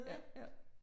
Ja, jo